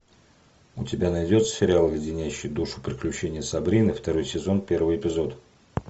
у тебя найдется сериал леденящие душу приключения сабрины второй сезон первый эпизод